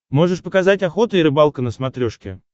можешь показать охота и рыбалка на смотрешке